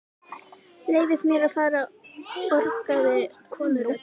Leyfið mér að fara orgaði konurödd.